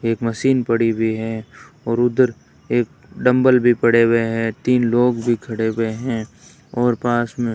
एक मशीन पड़ी हुई है और उधर एक डंबल भी पड़े हुए हैं तीन लोग भी खड़े हुए हैं और पास में --